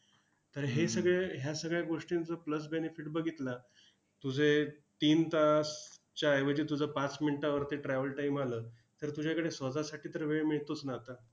तर हे सगळं ह्या सगळ्या गोष्टींचं plus benefit बघितलं, तुझे तीन तासच्या ऐवजी तुझं पाच मिनिटांवरती travel time आलं, तर तुझ्याकडे स्वतःसाठी तर वेळ मिळतोच ना आता.